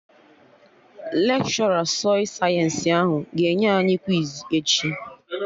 Lekshọra sọị sayensị ahụ ga-enye anyị kwiz echi